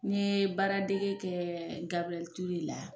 N ye baaradege kɛ Gabriel Toure la